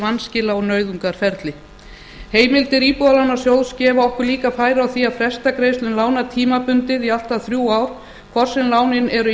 vanskila og nauðungarferli heimildir íbúðalánasjóð gefa okkur líka færi á því að fresta greiðslum lána tímabundið í allt að þrjú ár hvort sem lánin eru